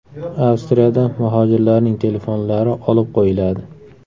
Avstriyada muhojirlarning telefonlari olib qo‘yiladi.